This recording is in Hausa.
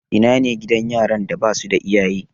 Ina ne gidan yaran da ba su da iyaye?